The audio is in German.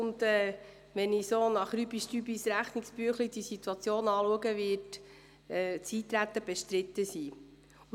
Wenn ich die Situation rein nach Rechnungsbüchlein grob überschlage, wird das Eintreten bestritten sein.